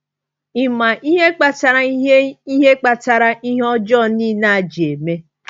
“Ị ma ihe kpatara ihe ihe kpatara ihe ọjọọ niile a ji eme?”